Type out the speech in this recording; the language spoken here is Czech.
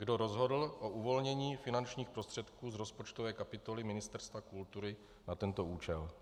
Kdo rozhodl o uvolnění finančních prostředků z rozpočtové kapitoly Ministerstva kultury na tento účel?